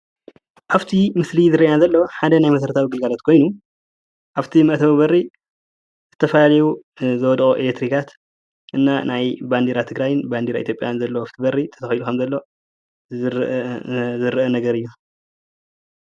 ኣብቲ ምስሊ ዝረየና ዘሎ ሓደ ናይ መሰረታዊ ግልጋሎታት ኮይኑ ኣብ እቲ መእተዊ በሪ ዝተፈላለዩ ዝወደቁ ኤሌክትሪካት እና ባንዴራ ትግራይን ባንዴራ ኢትዮጵያን ዘለዎ ኣብ ውሽጢ በሪ ተሰቂሉ ከም ዘሎ ዘራኢ ነገር እዩ።